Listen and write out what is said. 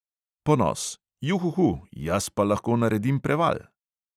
Ponos: "juhuhu, jaz pa lahko naredim preval!"